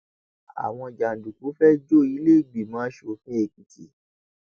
àwọn jàǹdùkú fẹẹ jó ìlẹẹgbìmọ asòfin èkìtì